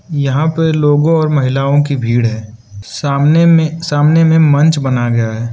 यहां पे लोगों और महिलाओं की भीड़ है सामने में सामने में मंच बनाया गया है।